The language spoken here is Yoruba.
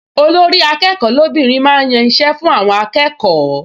Olórí-akẹ́kọ̀ọ́ lóbìnrin máa ń yan iṣẹ́ fún àwọn akẹ́kọ̀ọ